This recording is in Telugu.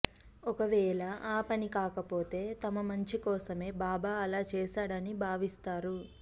ఒకవేళ ఆ పని కాకపోతే తమ మంచి కోసమే బాబా అలా చేశాడని భావిస్తారు